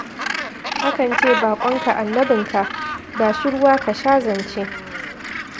Akan ce baƙonka Annabinka, ba shi ruwa ka sha zance.